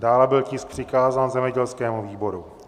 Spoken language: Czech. Dále byl tisk přikázán zemědělskému výboru.